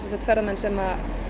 ferðamenn sem